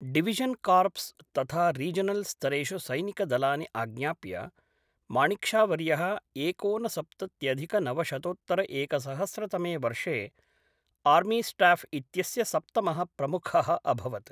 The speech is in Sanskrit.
डिविषन्, कार्प्स् तथा रीजनल् स्तरेषु सैनिकदलानि आज्ञाप्य, माणिक् शा वर्यः एकोनसप्तत्यधिकनवशतोत्तरएकसहस्रतमे वर्षे आर्मीस्टाफ् इत्यस्य सप्तमः प्रमुखः अभवत्।